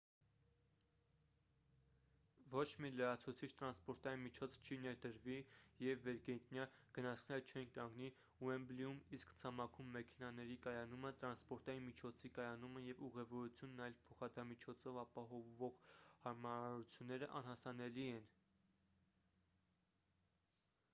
ոչ մի լրացուցիչ տրանսպորտային միջոց չի ներդրվի և վերգետնյա գնացքները չեն կանգնի ուեմբլիում իսկ ցամաքում մեքենաների կայանումը տրանսպորտային միջոցի կայանումը և ուղևորությունն այլ փոխադրամիջոցով ապահովող հարմարությունները անհասանելի են